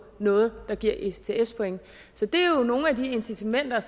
noget der giver ects point så det er jo nogle af de incitamenter